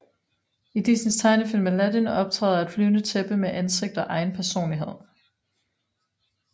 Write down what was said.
I Disneys tegnefilm Aladdin optræder et flyvende tæppe med ansigt og egen personlighed